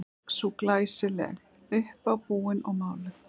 Og sú er glæsileg, uppábúin og máluð!